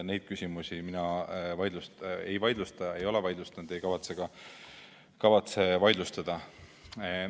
Neid küsimusi mina ei vaidlusta, ei ole vaidlustanud ega kavatse ka vaidlustada.